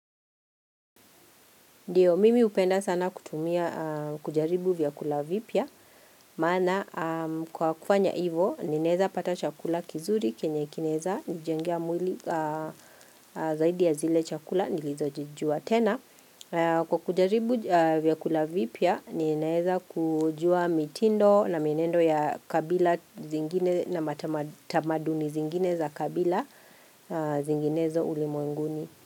Ndio, mimi hupenda sana kutumia kujaribu vyakula vipya. Maana, kwa kufanya hivo, ninaeza pata chakula kizuri, kenye kinaeza, nijengea mwili zaidi ya zile chakula, nilizojijua. Tena, Kwa kujaribu vyakula vipya, ninaeza kujua mitindo na mienendo ya kabila zingine na matamaduni zingine za kabila zinginezo ulimwenguni.